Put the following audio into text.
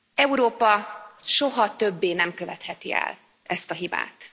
Európa soha többé nem követheti el ezt a hibát.